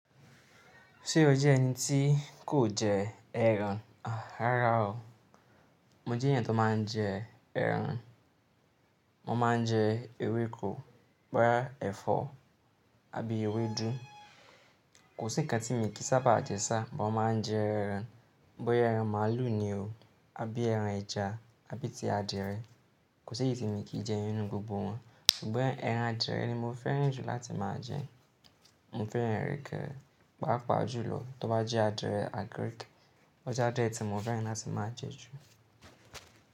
Ṣé o jẹ́ ẹni tí kò jẹ ẹran? Rárá o. Mo jẹ́ èeyàn tó máa ń jẹ ẹran. Mo máa ń jẹ ewéko, bọ́ya ẹ̀fọ́ abí ewédú. Kò sí kan tí mo kìí sábà jẹ sá̀, mo máa ń jẹ ẹran. Bọ́ya ẹran màlúù ni o, abí ẹran ẹja, abí ti adìẹ. Kò sí èyí tí mi kìí jẹ nínú gbogbo wọn. Ṣùgbọ́n ẹran adìẹ ni mo fẹ́ràn jù láti máa jẹ. Mo fẹ́ràn ẹrankẹ́, pàápàá jùlọ tó bá jẹ́ adìẹ agirìki. Ó jẹ́ adiẹ́ tí mo fẹ́ràn láti máa jẹ jù.